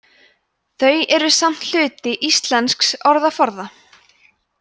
þau eru samt hluti íslensks orðaforða